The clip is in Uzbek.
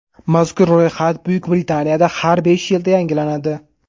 Mazkur ro‘yxat Buyuk Britaniyada har besh yilda yangilanadi.